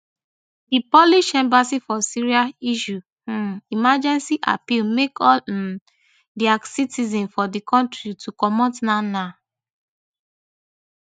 di polish embassy for syria issue um emergency appeal make all um dia citizens for di kontri to comot nownow